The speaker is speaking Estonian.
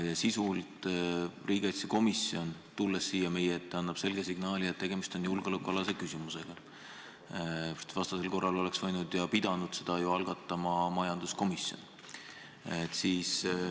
Ja sisult riigikaitsekomisjon, tulles siia meie ette, annab selge signaali, et tegemist on julgeolekualase küsimusega, vastasel korral oleks võinud ja pidanud selle algatama majanduskomisjon.